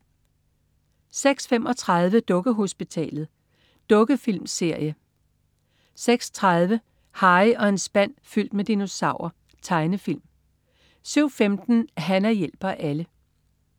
06.35 Dukkehospitalet. Dukkefilmserie 06.50 Harry og en spand fyldt med dinosaurer. Tegnefilm 07.15 Hana hjælper alle